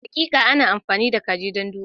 Hakika, ana amfani da kaji don duba.